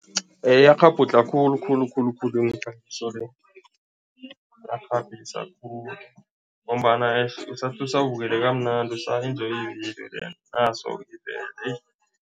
Iyakghabhudlha khulukhulu khulukhulu le, khulu ngombana eish usathi usabukele kamnandi, usa-enjoy ividiyo then naso-ke ivele